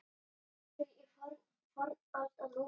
Þjóðtrú í fornöld og nútíð